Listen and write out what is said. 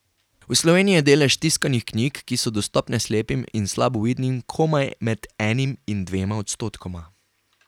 V Sloveniji je delež tiskanih knjig, ki so dostopne slepim in slabovidnim, komaj med enim in dvema odstotkoma.